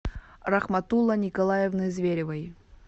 рахматулло николаевны зверевой